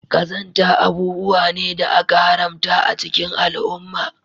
Qazanta abubuwa ne da aka haramta a cikin al'umma